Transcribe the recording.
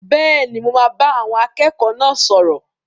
Bẹ́ẹ̀ni, mo máa bá àwọn akẹ́kọ̀ọ́ náà sọ̀rọ̀.